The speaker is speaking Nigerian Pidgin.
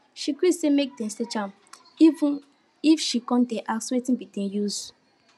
she gree say make dem search am even if she come dey ask wetin be de use